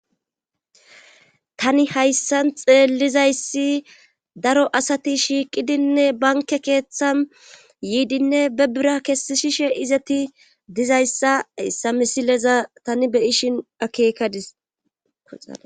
Tani hayssan xeellizayssi daro asati shiiqidinne banke keeththan yiidinne be bira kessishishe izeti dizayssa issa misileza tani beyishin akeekadis koxaa